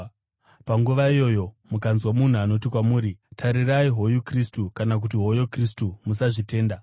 Panguva iyoyo, mukanzwa munhu anoti kwamuri, ‘Tarirai, hoyu Kristu!’ kana kuti, ‘Hoyo Kristu,’ musazvitenda.